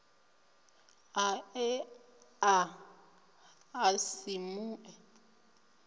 a ea a si mue